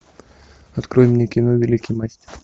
открой мне кино великий мастер